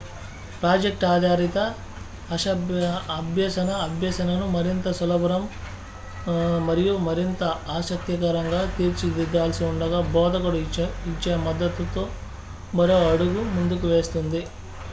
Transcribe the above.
project ఆధారిత అభ్యసన అభ్యసనను మరింత సులభతరం మరియు మరింత ఆసక్తికరంగా తీర్చిదిద్దాల్సి ఉండగా బోధకుడు ఇచ్చే మద్దతు మరో అడుగు ముందుకు వేస్తుంది